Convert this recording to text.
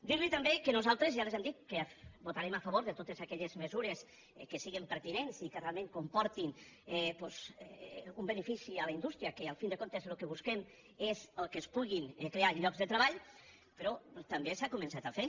dir·li també que nosaltres ja els hem dit que vota·rem a favor de totes aquelles mesures que siguin per·tinents i que realment comportin doncs un benefici a la indústria que al cap i a la fi el que busquem és que es puguin crear llocs de treball però també s’ha començat a fer